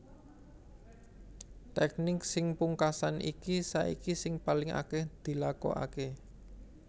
Tèknik sing pungkasan iki saiki sing paling akèh dilakokaké